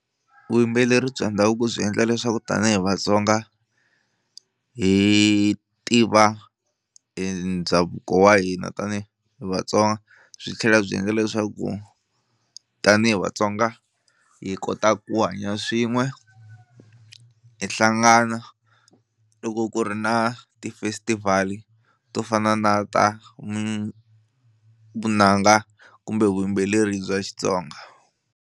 Vuyimbeleri bya ndhavuko byi endla leswaku tanihi Vatsonga hi tiva ndhavuko wa hina tanihi Vatsonga byi tlhela byi endla leswaku tanihi Vatsonga hi kota ku hanya swin'we hi hlangana loko ku ri na ti-festival to fana na ta vunanga kumbe vuyimbeleri bya Xitsonga.